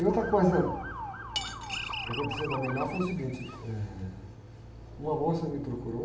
E outra coisa que aconteceu também lá foi o seguinte, eh, uma moça me procurou,